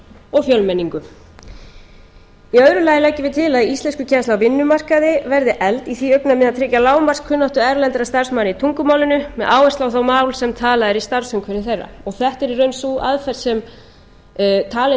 og fjölmenningu annars að íslenskukennsla á vinnumarkaði verði efld í því augnamiði að tryggja lágmarkskunnáttu erlendra starfsmanna í tungumálinu með áherslu á það mál sem talað er í starfsumhverfi þeirra þetta er í raun sú aðferð sem talin er